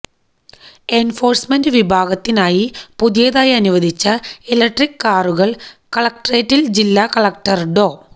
enforcement വിഭാഗത്തിനായി പുതിയതായി അനുവദിച്ച ഇലക്ട്രിക് കാറുകള് കളക്ട്രേറ്റില് ജില്ലാ കളക്ടര് ഡോ